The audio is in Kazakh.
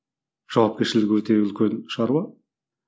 жауапкершілігі өте үлкен шаруа